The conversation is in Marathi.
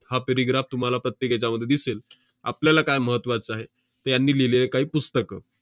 हा paragraph तुम्हाला प्रत्येक ह्याच्यामध्ये दिसेल. आपल्याला काय महत्त्वाचं आहे, त~ यांनी लिहिलेली काही पुस्तकं.